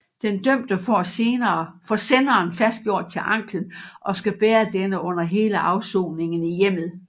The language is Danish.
Den dømte får senderen fastgjort til anklen og skal bære denne under hele afsoningen i hjemmet